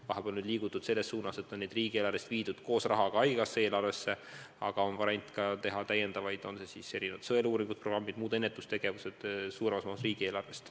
Vahepeal on liigutud selles suunas, et on osa teenuseid riigieelarvest viidud koos rahaga haigekassa eelarvesse, aga on ka variant teha täiendavaid sõeluuringuid ja muid ennetustegevusi suuremas mahus riigieelarvest.